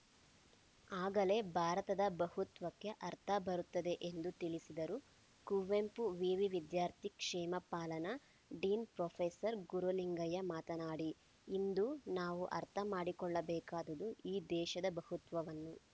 ಆಗಲೇ ಭಾರತದ ಬಹುತ್ವಕ್ಕೆ ಅರ್ಥ ಬರುತ್ತದೆ ಎಂದು ತಿಳಿಸಿದರು ಕುವೆಂಪು ವಿವಿ ವಿದ್ಯಾರ್ಥಿ ಕ್ಷೇಮ ಪಾಲನಾ ಡೀನ್‌ ಪ್ರೊಫೆಸರ್ ಗುರುಲಿಂಗಯ್ಯ ಮಾತನಾಡಿ ಇಂದು ನಾವು ಅರ್ಥ ಮಾಡಿಕೊಳ್ಳಬೇಕಾದುದು ಈ ದೇಶದ ಬಹುತ್ವವನ್ನು